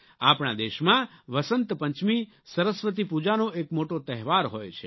આપણા દેશમાં વસંત પંચમી સરસ્વતી પૂજાનો એક મોટો તહેવાર હોય છે